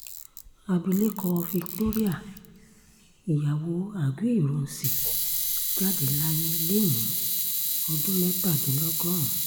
abilékọ victoria ìyàwó aguiyi- ironsi jáde láyé lẹ́ni ọdún mẹ́tàdínlọ́gọ́rùn